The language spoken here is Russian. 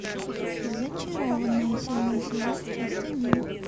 зачарованные седьмой сезон часть один